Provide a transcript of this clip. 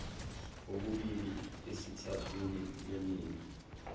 okubili esithathwini leningi